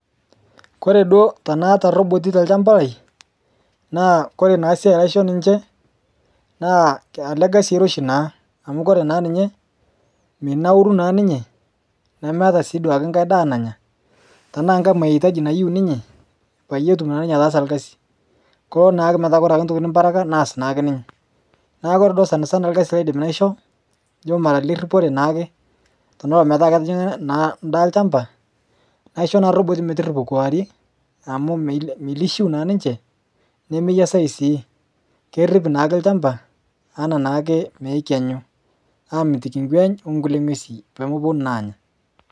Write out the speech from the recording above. koree duo tanaata roboti tolchamba lai naa koree naa siai naisho ninche naa ele kasi oiroshi naa amu koree naa ninye menauru naa ninye nemeeta si duo enkai daa nanya tanaa nkai mahitaji nayeu ninye payietum naa ninyee ataasa olkasi koo naa metaa oree naa ntokitin nimparaka naas naa ninye neeku oree duuo sanasan olkasi laidim naisho nijo mara leripore naake tenaa omeeta netijingaa naakeendaa olchamba naishoo naa roboti metiripo kewarie amu meilishiu naa ninche nemeyiasayu sii kerip naake olchamba enaa naake nekenyu amitikii ngweny onkulie ngwesin peemeponu naa anyaa